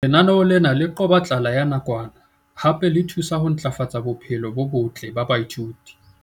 Lenaneo lena le qoba tlala ya nakwana hape le thusa ho ntlafatsa bophelo bo botle ba baithuti.